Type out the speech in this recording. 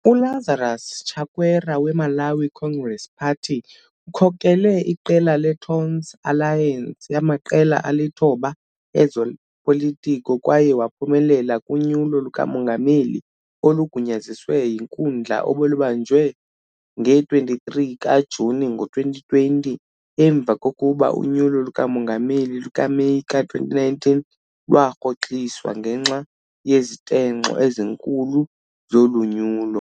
ULazarus Chakwera weMalawi Congress Party ukhokele iqela leTonse Alliance yamaqela alithoba ezopolitiko kwaye waphumelela kuNyulo lukaMongameli olugunyaziswe yinkundla obelubanjwe nge-23 kaJuni ngo-2020 emva kokuba unyulo lukaMongameli lukaMeyi ka-2019 lwarhoxiswa ngenxa yezitenxo ezinkulu zolonyulo.